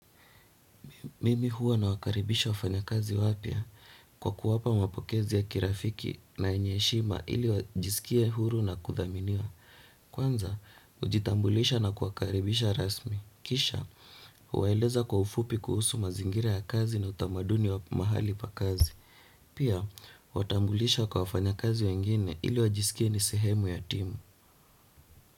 Mimi huwa nawakaribisha wafanyakazi wapya kwa kuwapa mapokezi ya kirafiki na yenye heshima ili wajisikia huru na kuthaminiwa. Kwanza, hujitambulisha na kuwakaribisha rasmi. Kisha, huwaeleza kwa ufupi kuhusu mazingira ya kazi na utamaduni wa mahali pa kazi. Pia, huwatambulisha kwa wafanyakazi wengine ili wajisikie ni sihemu ya timu.